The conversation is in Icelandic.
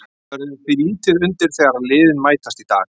Það verður því lítið undir þegar liðin mætast í dag.